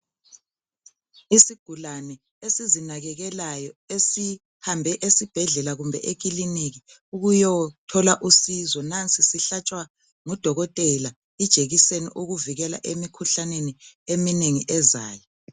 Isigulane esizi nakekelayo esihambe esibhedlela kumbe ekiliniki ukuyothola usizo .Nansi sihlatshwa ngudokotela ijekiseni okuvikela emikhuhlaneni eminengi ezayo.